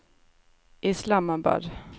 Islamabad